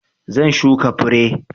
Zan shuka fure.